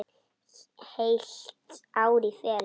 Heilt ár í felum.